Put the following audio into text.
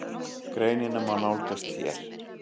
Greinina má nálgast hér.